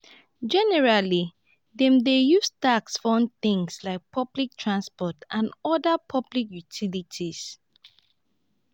generally dem dey use tax fund things like public transport and oda public utilities